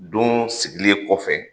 Don sigilen kɔfɛ